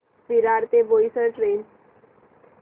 विरार ते बोईसर ट्रेन